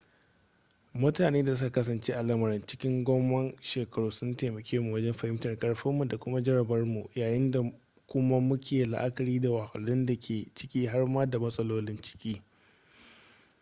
mutune da suka kasance a lamarin cikin gomman shekaru sun taimake mu wajen fahimtar karfinmu da kuma jarabarmu yayin da kuma muke la'akari da wahalhalun da ke ciki har ma da matsalolin ciki